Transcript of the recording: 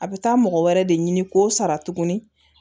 A bɛ taa mɔgɔ wɛrɛ de ɲini k'o sara tuguni